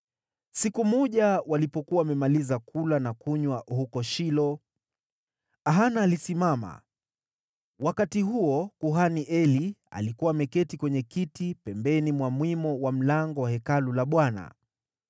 Siku moja walipokuwa wamemaliza kula na kunywa huko Shilo, Hana alisimama. Wakati huo kuhani Eli alikuwa ameketi kwenye kiti pembeni mwa mwimo wa mlango wa Hekalu la Bwana .